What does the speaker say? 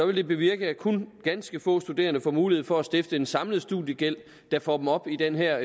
vil det bevirke at kun ganske få studerende får mulighed for at stifte en samlet studiegæld der får dem op i den her